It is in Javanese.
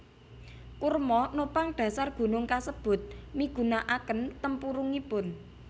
Kurma nopang dhasar gunung kasebut migunakaken tempurungipun